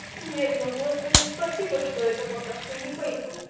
нет но господи спасибо что это пока что не пейтэн